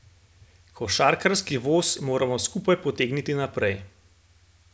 Košarkarski voz moramo skupaj potegniti naprej.